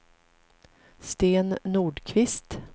Sten Nordqvist